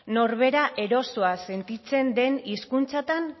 norbera erosoa sentitzen den hizkuntzatan